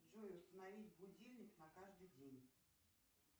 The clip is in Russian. джой установить будильник на каждый день